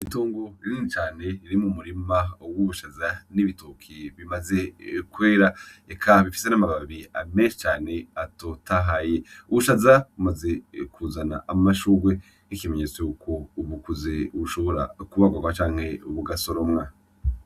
Itongo rinini cane riri mumurima w'ubushaza n'ibitoki bimaze kwera eka bifise n'amababi meshi cane atotahaye , Ubushaza bumaze kuzana amashurwe nk'ikimenyetso ko bukuze bushobora kubagarwa canke gusoromwa.